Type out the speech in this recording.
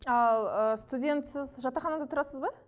ы студентсіз жатақханада тұрасыз ба